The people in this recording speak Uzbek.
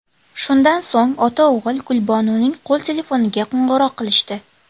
Shundan so‘ng ota-o‘g‘il Gulbonuning qo‘l telefoniga qo‘ng‘iroq qilishdi.